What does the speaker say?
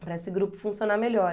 para esse grupo funcionar melhor.